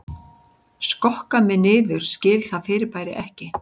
Skokka mig niður skil það fyrirbæri ekki